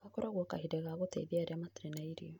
Gakoragwa kahinda ka kũteithia arĩa matarĩ irio.